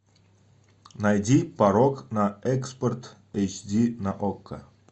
найди порог на экспорт эйч ди на окко